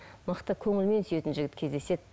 мықты көңілмен сүйетін жігіт кездеседі